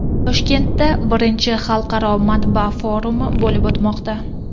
Toshkentda I Xalqaro matbaa forumi bo‘lib o‘tmoqda.